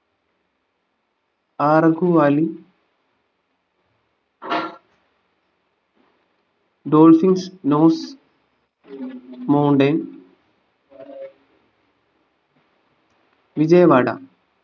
Araku valley dolphins snow mountain Vijayawada